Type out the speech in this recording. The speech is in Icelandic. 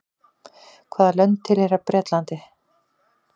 hvaða lönd tilheyra bretlandi